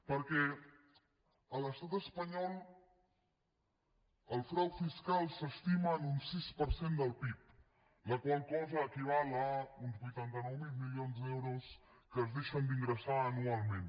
perquè a l’estat espanyol el frau fiscal s’estima en un sis per cent del pib la qual cosa equival a uns vuitanta nou mil milions d’euros que es deixen d’ingressar anualment